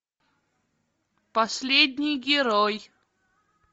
последний герой